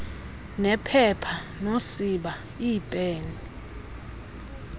nephepha nosiba iipen